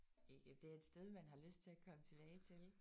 Det er et sted man har lyst til at komme tilbage til